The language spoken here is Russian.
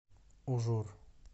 ужур